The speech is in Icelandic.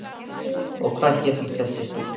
Og hvað hét hún þessi stúlka?